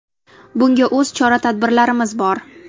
Bunga o‘z chora-tadbirlarimiz bor.